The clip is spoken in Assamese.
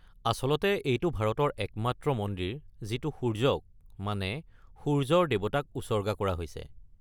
আচলতে এইটো ভাৰতৰ একমাত্ৰ মন্দিৰ যিটো সূৰ্য্য, মানে, সূৰ্য্যৰ দেৱতাক উচৰ্গা কৰা হৈছে।